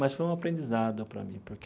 Mas foi um aprendizado para mim porque.